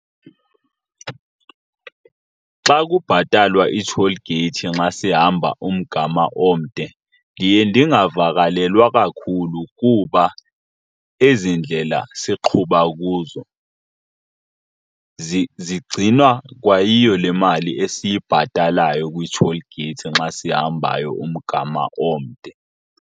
Xa kubhatalwa ii-toll gates nxa sihamba umgama omde ndiye ndingavakalelwa kakhulu kuba ezi ndlela siqhuba kuzo zigcinwa kwa yiyo le mali esibhatalwayo kwi-toll gates nxa sihambayo umgama omde.